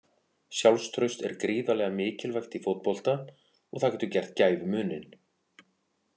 Sjálfstraust er gríðarlega mikilvægt í fótbolta og það getur gert gæfumuninn.